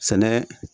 Sɛnɛ